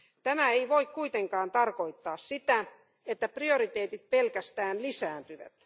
Tämä ei voi kuitenkaan tarkoittaa sitä, että prioriteetit pelkästään lisääntyvät.